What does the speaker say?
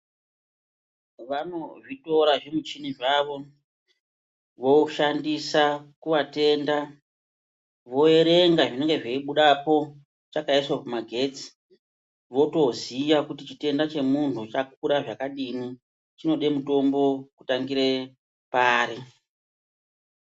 Vanozvitora zvimuchini zvavo voshandisa kuvatenda voerenga zvinenge zveibudapo chakaiswe kumagetsi. Votoziya kuti chitenda chemuntu chakakura zvakadini chinode mutombo kutangira pari.